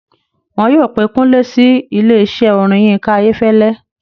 Wọ́n yóò pé Kúnlé sí ilésẹ́ orin Yinka Ayefele